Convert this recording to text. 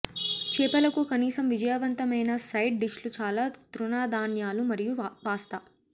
చేపలకు కనీసం విజయవంతమైన సైడ్ డిష్లు చాలా తృణధాన్యాలు మరియు పాస్తా